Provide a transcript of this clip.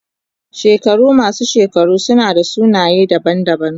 Shekaru masu shekaru suna da sunaye daban-daban.